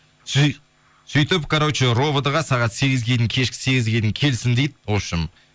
сөйтіп короче ровд ға сағат кешкі сегізге дейін келсін дейді вообщем